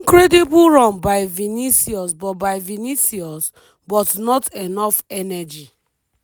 incredible run by vinicius but by vinicius but not enough energy.